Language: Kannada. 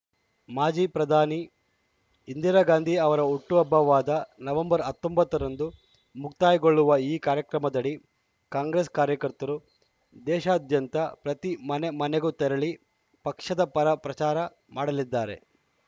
ಮಾಜಿ ಪ್ರಧಾನಿ ಇಂದಿರಾ ಗಾಂಧಿ ಅವರ ಹುಟ್ಟುಹಬ್ಬವಾದ ನವೆಂಬರ್ ಹತ್ತೊಂಬತ್ತರಂದು ಮುಕ್ತಾಯಗೊಳ್ಳುವ ಈ ಕಾರ್ಯಕ್ರಮದಡಿ ಕಾಂಗ್ರೆಸ್‌ ಕಾರ್ಯಕರ್ತರು ದೇಶಾದ್ಯಂತ ಪ್ರತಿ ಮನೆಮನೆಗೂ ತೆರಳಿ ಪಕ್ಷದ ಪರ ಪ್ರಚಾರ ಮಾಡಲಿದ್ದಾರೆ